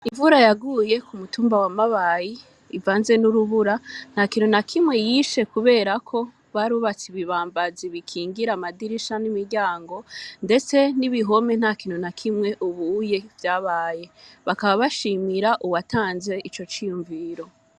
Imvura yaguye ku mutumba wa Mabayi ivanze n'urubura, ntakintu nakimwe yishe, kubera ko barubatse ibibambazi bikingira amadirisha n'imiryango, ndetse n'ibihome ntakintu nakimwe ubu vyabaye, bakaba bashimira uwatanze ico ciyumviro.